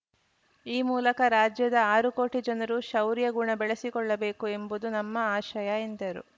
ಈ ಮೂಲಕ ರಾಜ್ಯದ ಆರು ಕೋಟಿ ಜನರೂ ಶೌರ್ಯ ಗುಣ ಬೆಳೆಸಿಕೊಳ್ಳಬೇಕು ಎಂಬುದು ನಮ್ಮ ಆಶಯ ಎಂದರು